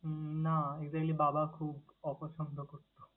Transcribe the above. উম না exactly বাবা খুব অপছন্দ করতো।